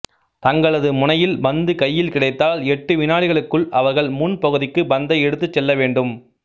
தங்களது முனையில் பந்து கையில் கிடைத்தால் எட்டு வினாடிகளுக்குள் அவர்கள் முன் பகுதிக்கு பந்தை எடுத்துச் செல்ல வேண்டும்